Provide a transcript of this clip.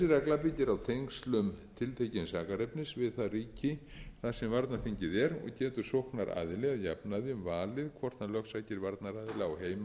þessi regla byggir a tengslum tiltekins sakarefnis við það ríki þar sem varnarríkið er og getur sóknaraðili að jafnaði valið hvort hann lögsækir varnaraðila á heimilisvarnarþingi eða